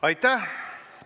Aitäh!